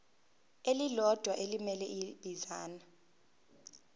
elilodwa elimele ibinzana